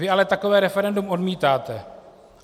Vy ale takové referendum odmítáte.